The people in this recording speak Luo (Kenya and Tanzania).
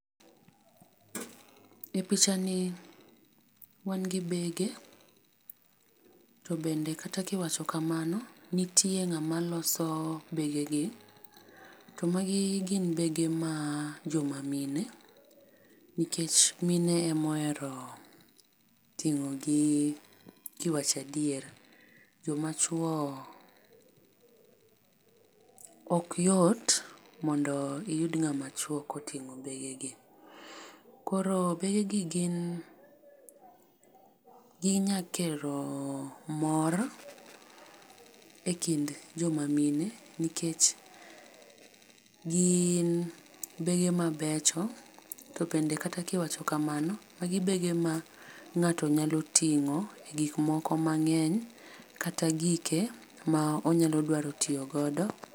E picha ni wan gi bege to bende kata ki iwacho kamano nitie ng'ama loso bege gi to magi gin bege ma jo ma mine nikech mine ema ohero ting'o gi ki iwacho adier. Jo ma chuo ok yot mondo iyud ng'ama chuo ka oting'o bege gi. Koro bege gi gi nyalo kelo mor e kind jo ma mine nikech gin bege ma becho to bende kata ki iwacho kamano magi bege ma ng'ato nya ting'o e gik moko mang'eny kata gike ma onyalo dwaro tiyo godo.